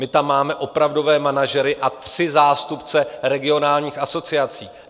My tam máme opravdové manažery a tři zástupce regionálních asociací.